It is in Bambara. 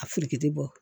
A furuki bɔ